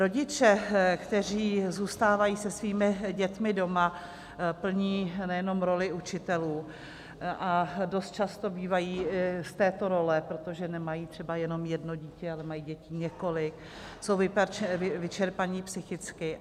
Rodiče, kteří zůstávají se svými dětmi doma, plní nejenom roli učitelů, a dost často bývají z této role, protože nemají třeba jenom jedno dítě, ale mají dětí několik, jsou vyčerpaní psychicky.